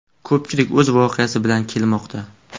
Ko‘pchilik o‘z voqeasi bilan kelmoqda.